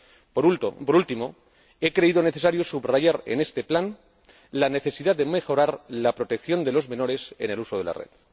Por último, he creído necesario subrayar en este plan la necesidad de mejorar la protección de los menores en el uso de la red.